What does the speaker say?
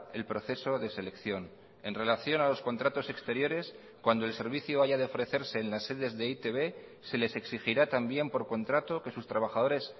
el proceso de selección en relación a los contratos exteriores cuando el servicio haya de ofrecerse en las sedes de e i te be se les exigirá también por contrato que sus trabajadores